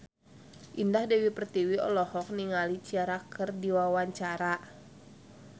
Indah Dewi Pertiwi olohok ningali Ciara keur diwawancara